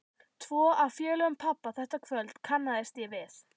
Tvo af félögum pabba þetta kvöld kannaðist ég við.